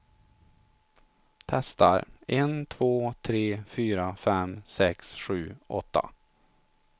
Testar en två tre fyra fem sex sju åtta.